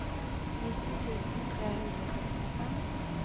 nitti tusen tre hundre og sekstifem